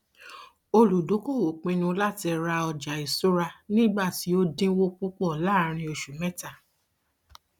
olùdókoòwò pinnu láti ra ọjàìṣura nígbà um tí ó dínwó púpọ láàárín oṣù mẹta